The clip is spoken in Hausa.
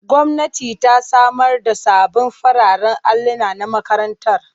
Gwamnati ta samar da sabbin fararen alluna na makarantar.